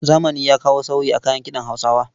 Zamani ya kawo sauyi a kayan kiɗan Hausawa.